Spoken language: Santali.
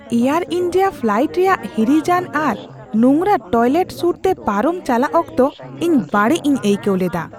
ᱮᱭᱟᱨ ᱤᱱᱰᱤᱭᱟ ᱯᱷᱞᱟᱭᱤᱴ ᱨᱮᱭᱟᱜ ᱦᱤᱨᱤᱡᱽᱟᱱ ᱟᱨ ᱱᱳᱝᱨᱟ ᱴᱚᱭᱞᱮᱴ ᱥᱩᱨᱛᱮ ᱯᱟᱨᱚᱢ ᱪᱟᱞᱟᱜ ᱚᱠᱛᱚ ᱤᱧ ᱵᱟᱹᱲᱤᱡᱽᱼᱤᱧ ᱟᱹᱭᱠᱟᱹᱣ ᱞᱮᱫᱟ ᱾